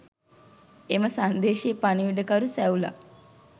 එම සංදේශයේ පණිවුඩකරු සැවුලා